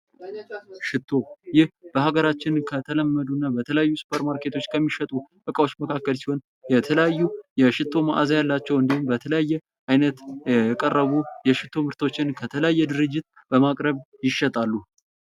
ሽቶ:- ይህ በሀገራችን ከተለመዱና ተለያዩ ሱፐር ማርኬቶች ከሚሸጡ እቃዎች መካከል ሲሆን የተለያዩ የሽቶ ማዓዛ ያላቸው እንዲሁም በተለያዩ አይነት የቀረቡ የሽቶ ምርቶችን ከተለያየ ድርጅት ይሸጣሉ።